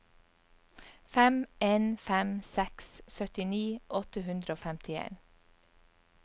fem en fem seks syttini åtte hundre og femtien